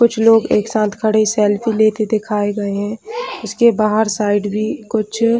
कुछ लोग एक साथ खड़े सेल्फी लेते दिखाये गए है इस के बाहर साइड में भी कुछ--